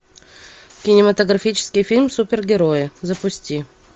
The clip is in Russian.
кинематографический фильм супергерои запусти